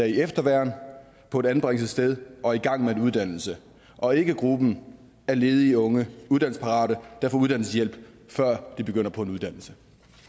i efterværn på et anbringelsessted og i gang med en uddannelse og ikke gruppen af ledige unge uddannelsesparate der får uddannelseshjælp før de begynder på en uddannelse